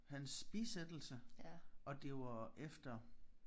Hans bisættelse og det var efter